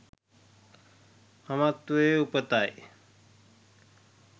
මමත්වයේ උපතයි.